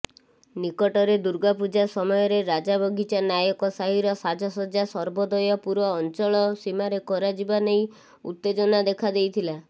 ନିକଟରେ ଦୁର୍ଗାପୂଜା ସମୟରେ ରାଜାବଗିଚା ନାୟକ ସାହିର ସାଜ୍ଜସଜା ସର୍ବୋଦୟପୁର ଅଞ୍ଚଳ ସୀମାରେ କରାଯିବା ନେଇ ଉତ୍ତେଜନା ଦେଖାଦେଇଥିଲା